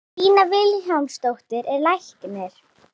Lína Vilhjálmsdóttir er læknir.